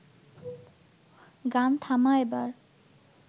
গান থামা এবার